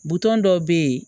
Buton dɔw be yen